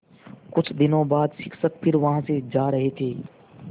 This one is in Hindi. कुछ दिनों बाद शिक्षक फिर वहाँ से जा रहे थे